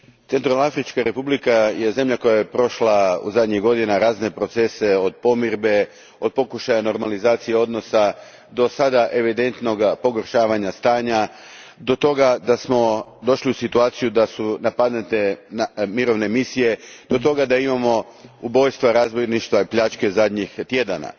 Gospodine predsjedniče, Srednjoafrička Republika je zemlja koja je prošla zadnjih godina razne procese od pomirbe, od pokušaja normalizacije odnosa, do sada evidentnog pogoršavanja stanja, do toga da smo došli u situaciju da su napadnute mirovne misije, do toga da imamo ubojstva, razbojništva i pljačke zadnjih tjedana.